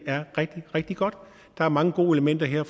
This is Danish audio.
er rigtig rigtig godt der er mange gode elementer her